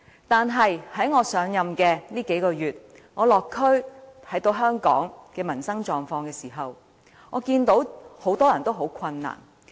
但是，在我上任以來的數個月，我落區看到香港的民生狀況，我看到很多人也十分困難。